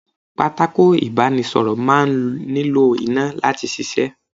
Pátákó ibanisoro máa ń nílò iná láti ṣíṣe.